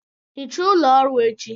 Hichaa ụlọ ọrụ echi